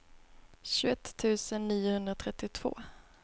tjugoett tusen niohundratrettiotvå